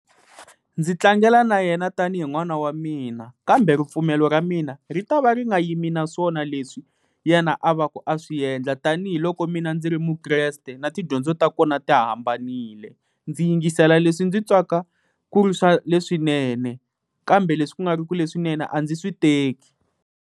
Ndzi tlangela na yena tanihi n'wana wa mina, kambe ripfumelo ra mina ri ta va ri nga yimi naswona leswi yena a va ku a swi endla, tanihiloko mina ndzi ri muKreste, na tidyondzo ta kona ti hambanile. Ndzi yingisela leswi ndzi twaka ku ri swa leswinene kambe leswi ku nga ri ku leswinene a ndzi swi teki.